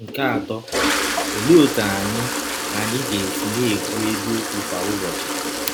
Nke atọ, ọlee ọtụ anyị anyị ga - esi na - ekwụ eziọkwụ kwa ụbọchị?